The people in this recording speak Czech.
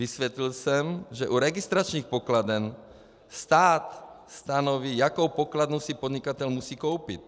Vysvětlil jsem, že u registračních pokladen stát stanoví, jakou pokladnu si podnikatel musí koupit.